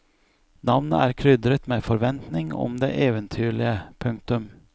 Navnet er krydret med forventning om det eventyrlige. punktum